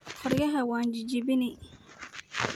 Koryaxa wan jajabini.